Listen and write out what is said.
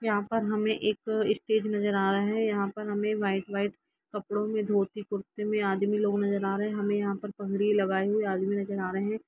यहां पर हमे एक स्टेज नजर आ रहा है यहां पर हमे व्हाइट व्हाइट कपड़ो में धोती कुर्ते में आदमी लोग नज़र आ रहे है हमे यहां पर पगड़ी लगाए हुऐ आदमी नजर आ रहे हैं।